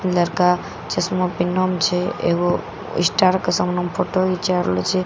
लड़का चश्मा पेननै छे एगो स्टार के सामन मे फोटो घिंचा रहल छै जे --